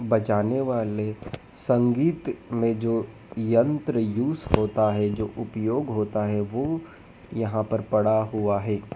बजाने वाले संगीत में जो यंत्र यूज़ होता है जो उपयोग होता है वो यहाँ पर पड़ा हुआ है।